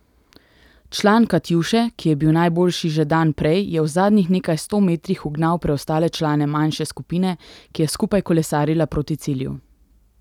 Član Katjuše, ki je bil najboljši že dan prej, je v zadnjih nekaj sto metrih ugnal preostale člane manjše skupine, ki je skupaj kolesarila proti cilju.